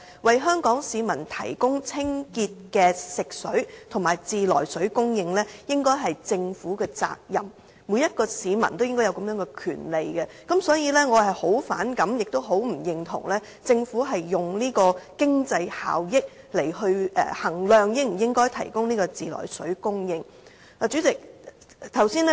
為香港市民提供清潔的食水和自來水供應，應該是政府的責任，每一名市民應該也享有這個權利，所以對政府以經濟效益來衡量應否提供自來水供應，我很反感，也很不認同。